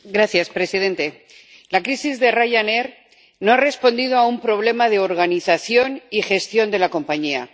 Señor presidente, la crisis de Ryanair no ha respondido a un problema de organización y gestión de la compañía.